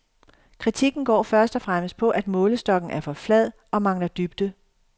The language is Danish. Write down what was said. Kritikken går først og fremmest på, at målestokken er for flad og mangler dybde.